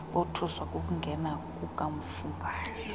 bothuswa kukungena kukamafungwashe